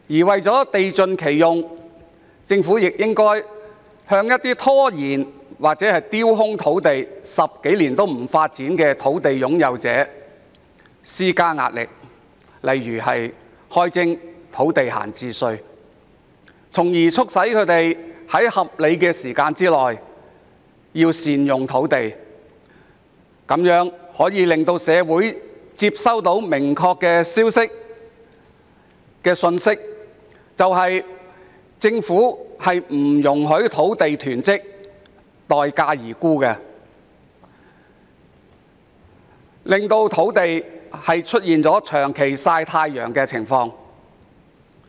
為了地盡其用，政府亦應向有意拖延或丟空土地10多年不發展的土地擁有者施加壓力，例如開徵土地閒置稅，促使他們在合理時間內善用土地，藉此向社會傳遞明確信息，即政府不容許土地囤積、待價而沽，以防土地出現長期"曬太陽"的情況。